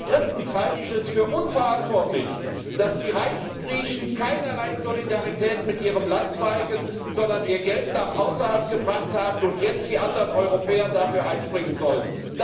Drittens halte ich es für unverantwortlich, dass die reichen Griechen keinerlei Solidarität mit ihrem Land zeigen, sondern ihr Geld nach außerhalb gebracht haben und jetzt die anderen Europäer dafür einspringen sollen.